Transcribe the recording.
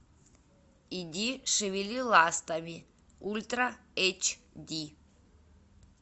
иди шевели ластами ультра эйч ди